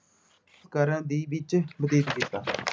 ਕਰਨ ਦੇ ਵਿੱਚ ਬਤੀਤ ਕੀਤਾ।